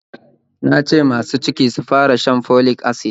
Na ce masu ciki sufara shan folic acid